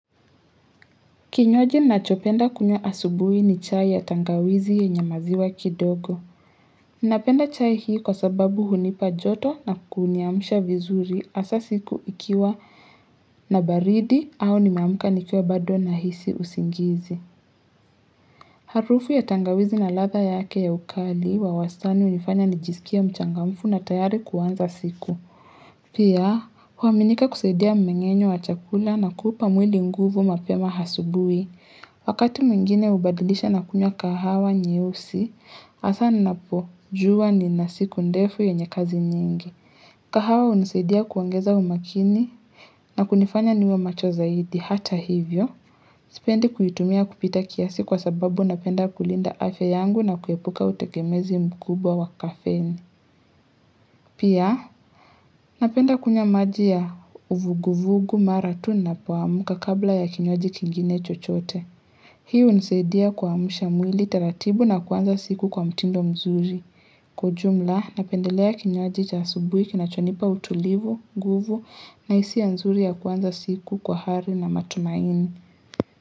Kinywaji nichopenda kunywa asubuhi ni chai ya tangawizi yenye maziwa kidogo. Napenda chai hii kwa sababu hunipa joto na kuniamsha vizuri hasa siku ikiwa na baridi au nimeamuka nikiwa bado nahisi usingizi. Harufu ya tangawizi na latha yake ya ukali wa wastani hunifanya nijisikie mchangamfu na tayari kuanza siku. Pia, huwaminika kusaidia mmengenyo wa chakula na kupa mwili nguvu mapema hasubui. Wakati mwingine hubadilisha na kunywa kahawa nyeusi, hasaa ninapojuwa nina siku ndefu yenye kazi nyingi. Kahawa husaidia kuongeza umakini na kunifanya niwe macho zaidi hata hivyo. Sipendi kuitumia kupita kiasi kwa sababu napenda kulinda afya yangu na kuepuka utengemezi mkubwa wa kafeni. Pia napenda kunywa maji ya huvuguvugu maratu napoamka kabla ya kinywaji kingine chochote. Hii hunisadia kuamsha mwili taratibu na kuanza siku kwa mtindo mzuri. Kwa ujumla napendelea kinywaji cha subuhi kinachonipa utulivu, nguvu na hisia nzuri ya kuanza siku kwa hali na matumaini.